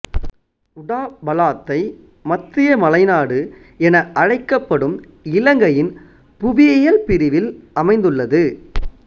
உடாபலாத்தை மத்திய மலைநாடு என அழைக்கப்படும் இலங்கையின் புவியியல் பிரிவில் அமைந்துள்ளது